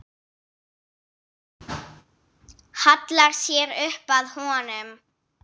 Hallar sér upp að honum.